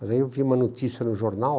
Mas aí eu vi uma notícia no jornal